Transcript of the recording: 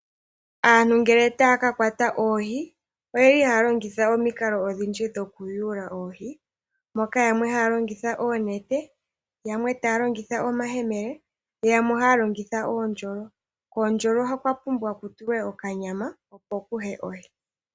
Aantu ngele taa ka kwata oohi, oye li haa longitha omikalo odhindji dhokuyula oohi, moka yamwe haa longitha oonete, yamwe taa longitha omayemele, yamwe ohaa longitha oondjolo. Koondjolo okwa pumbwa ku tulwe okanyama, opo ku ye ohi.